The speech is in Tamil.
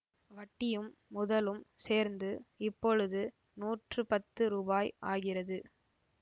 வட்டியும் முதலும் சேர்ந்து இப்பொழுது நூற்று பத்து ருபாய் ஆகிறது